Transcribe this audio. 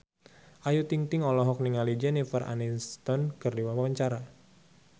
Ayu Ting-ting olohok ningali Jennifer Aniston keur diwawancara